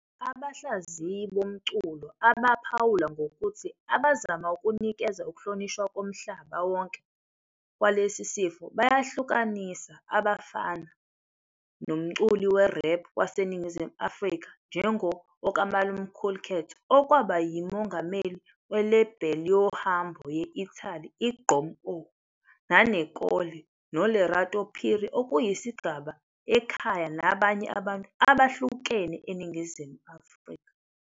Abahlaziyi bomculo abaphawula ngokuthi abazama ukunikeza uhlonishwa komhlaba wonke kwalesi sifo bayahlukanisa abafana nomculi we-rap waseNingizimu Afrika njengu-Okmalumkoolkat, okwaba yimongameli we-label yohambo ye-Italy i-Gqom Oh, Nane Kole no Lerato Phiri okuyisigaba ekhaya nabanye abantu abahlukene eNingizimu Afrika.